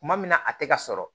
Kuma min na a tɛ ka sɔrɔ